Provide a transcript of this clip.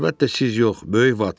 Əlbəttə siz yox, böyük vad.